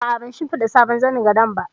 A'a, ban shimfiɗa sabon zanin gado ba